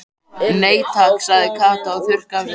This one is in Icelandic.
Nei takk sagði Kata og þurrkaði af sér tárin.